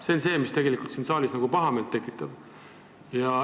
See on see, mis tegelikult siin saalis pahameelt tekitab.